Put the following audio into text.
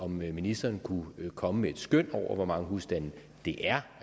ministeren kunne komme med et skøn over hvor mange husstande det er